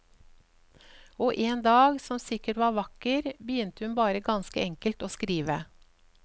Og en dag som sikkert var vakker, begynte hun bare ganske enkelt å skrive.